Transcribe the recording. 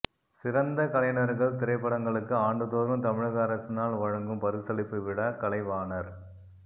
சிறந்த கலைஞர்கள் திரைப்படங்களுக்கு ஆண்டுதோறும் தமிழக அரசினால் வழங்கும் பரிசளிப்பு விழா கலைவாணர்